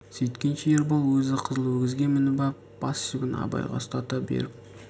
сүйткенше ербол өзі қызыл өгізге мініп ап бас жібін абайға ұстата беріп